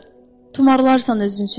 Tumarlarsan özün üçün.